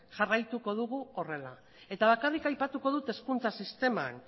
jarraituko dugu horrela eta bakarrik aipatuko dut hezkuntza sisteman